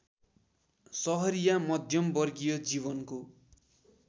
सहरिया मध्यमवर्गीय जीवनको